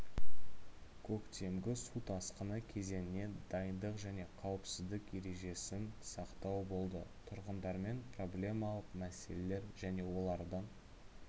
көктемгі су тасқыны кезеңіне дайындық және қауіпсіздік ережесін сақтау болды тұрғындармен проблемалық мәселелер және олардың